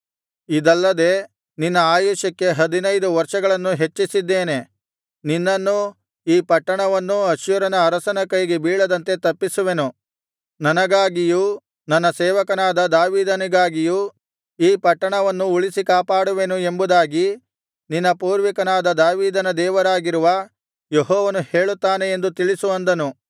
ಇದಲ್ಲದೆ ನಿನ್ನ ಆಯುಷ್ಯಕ್ಕೆ ಹದಿನೈದು ವರ್ಷಗಳನ್ನು ಹೆಚ್ಚಿಸಿದ್ದೇನೆ ನಿನ್ನನ್ನೂ ಈ ಪಟ್ಟಣವನ್ನೂ ಅಶ್ಶೂರನ ಅರಸನ ಕೈಗೆ ಬೀಳದಂತೆ ತಪ್ಪಿಸುವೆನು ನನಗಾಗಿಯೂ ನನ್ನ ಸೇವಕನಾದ ದಾವೀದನಿಗಾಗಿಯೂ ಈ ಪಟ್ಟಣವನ್ನು ಉಳಿಸಿ ಕಾಪಾಡುವೆನು ಎಂಬುದಾಗಿ ನಿನ್ನ ಪೂರ್ವಿಕನಾದ ದಾವೀದನ ದೇವರಾಗಿರುವ ಯೆಹೋವನು ಹೇಳುತ್ತಾನೆ ಎಂದು ತಿಳಿಸು ಅಂದನು